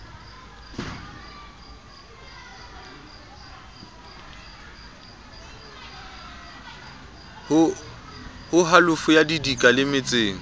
ho halofo ya didika lemetseng